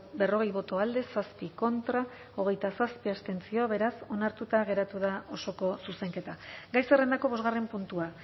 berrogei boto alde zazpi contra hogeita zazpi abstentzio beraz onartuta geratu da osoko zuzenketa gai zerrendako bosgarren puntua